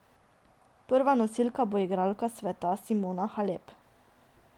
Prva nosilka bo prva igralka sveta Simona Halep.